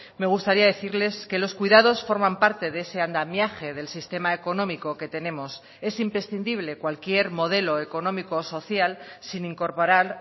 me gustaría decirles que los cuidados forman parte de ese andamiaje del sistema económico que tenemos es imprescindible cualquier modelo económico social sin incorporar